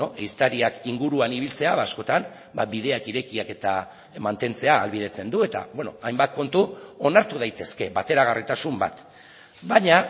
ehiztariak inguruan ibiltzea askotan bideak irekiak eta mantentzea ahalbidetzen du eta hainbat kontu onartu daitezke bateragarritasun bat baina